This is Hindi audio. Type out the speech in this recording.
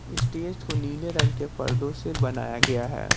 स्टेज को नीले रंग के पर्दों से बनाया गया है।